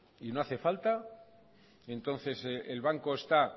y no hace falta entonces el banco está